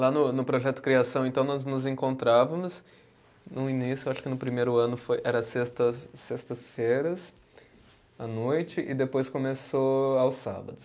Lá no no projeto Criação, então, nós nos encontrávamos no início, acho que no primeiro ano foi, era sexta, sextas-feiras, à noite, e depois começou aos sábados.